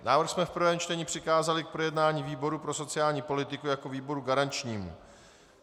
Návrh jsme v prvním čtení přikázali k projednání výboru pro sociální politiku jako výboru garančnímu.